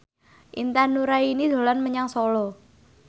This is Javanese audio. Intan Nuraini dolan menyang Solo